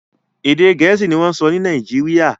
Èdè Gẹ̀ẹ́sì ni wọ́n ń sọ Nàìjíríà